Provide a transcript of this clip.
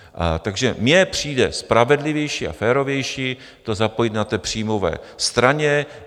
Takže mně přijde spravedlivější a férovější to zapojit na té příjmové straně.